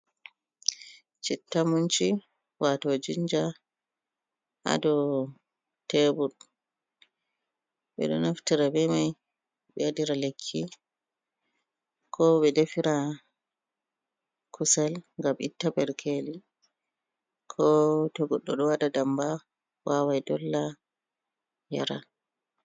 Citta munci wato jinja hado tebur, ɓeɗo naftira be mai be dafira kusal ngam itta berkeli ko towada ndamba wawai dolla yara.